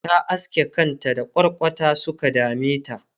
ta aske kanta da kwarkwata Suka dameta